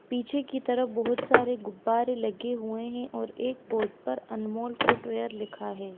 पीछे की तरफ बहुत सरे गुब्बारे लगे हुए है और एक बोर्ड पर अनमोल फुट वियर लिखा है।